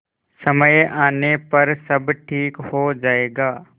समय आने पर सब ठीक हो जाएगा